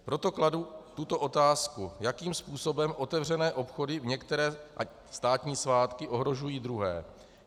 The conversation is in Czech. Proto kladu tuto otázku: Jakým způsobem otevřené obchody v některé státní svátky ohrožují druhé?